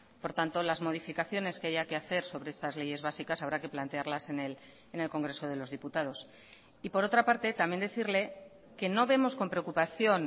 por tanto las modificaciones que haya que hacer sobre esas leyes básicas habrá que plantearlas en el congreso de los diputados y por otra parte también decirle que no vemos con preocupación